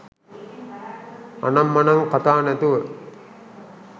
අනම් මනං කථා නැතුව